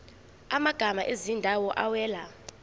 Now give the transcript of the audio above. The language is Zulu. amagama ezindawo awela